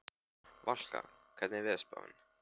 Valka, hvernig er veðurspáin?